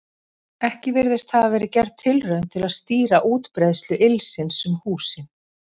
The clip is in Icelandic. Ekki virðist hafa verið gerð tilraun til að stýra útbreiðslu ylsins um húsin.